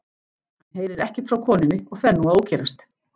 Hann heyrir ekkert frá konunni og fer nú að ókyrrast.